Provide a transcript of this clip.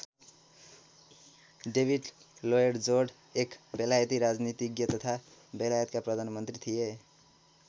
David Lloyd George एक बेलायती राजनीतिज्ञ तथा बेलायतका प्रधानमन्त्री थिए।